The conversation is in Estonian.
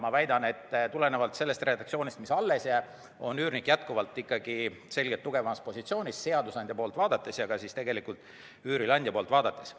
Ma väidan, et tulenevalt sellest redaktsioonist, mis jõusse astub, on üürnik jätkuvalt selgelt tugevamas positsioonis nii seadusandja poolt vaadates kui ka üürileandja poolt vaadates.